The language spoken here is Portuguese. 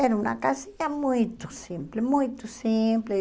Era uma casinha muito simples, muito simples.